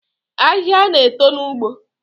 Ahịhịa na-eto n’ugbo